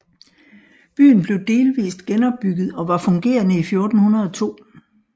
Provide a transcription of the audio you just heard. Byen blev delvist genopbygget og var fungerende i 1402